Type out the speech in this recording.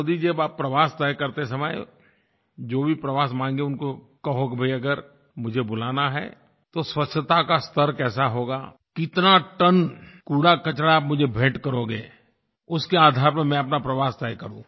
मोदी जी अब आप प्रवास तय करते समय जो भी प्रवास माँगे उनको कहो कि भई अगर मुझे बुलाना है तो स्वच्छता का स्तर कैसा होगा कितना टन कूड़ाकचरा आप मुझे भेंट करोगे उसके आधार पर मैं अपना प्रवास तय करूँ